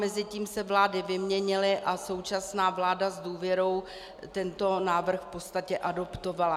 Mezitím se vlády vyměnily a současná vláda s důvěrou tento návrh v podstatě adoptovala.